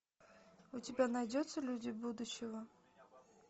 у тебя найдется люди будущего